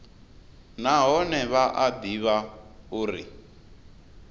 nahone vha a ḓivha uri